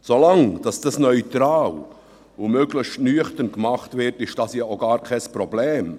Solange dies neutral und möglichst nüchtern gemacht wird, ist dies ja auch gar kein Problem.